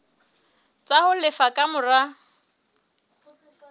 tsa ho lefa ka mora